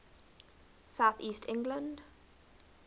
south east england